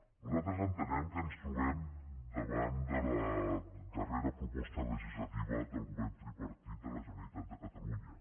nosaltres entenem que ens trobem davant de la dar·rera proposta legislativa del govern tripartit de la generalitat de catalunya